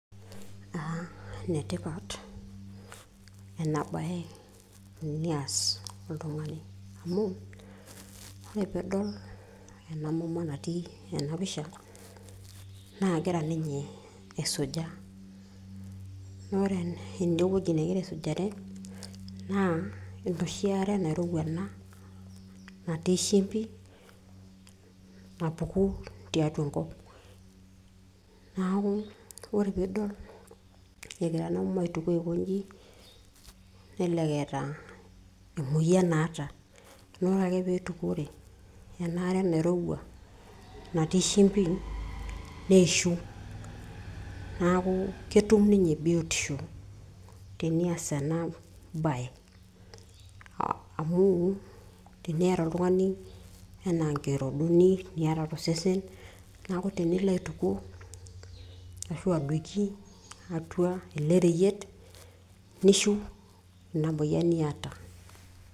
uh, enetipat ena baye enias oltung'ani amu ore piidol ena mama natii ena pisha naa kegira ninye aisuja naa ore enewueji negira aisujare naa enoshi are nairowua ena natii shimbi napuku tiatua enkop naaku ore piidol egira ena mama aitukuo aikonji nelelek eeta emoyian naata naa ore ake piitukuore enaare nairowua natii shimbi neishu naaku ketum ninye biotisho tenias ena baye amu teniata oltung'ani anaa nkirodoni niata tosesen naku tenilo aitukuo ashu adoiki atua ele reyiet nishiu ina moyian niata.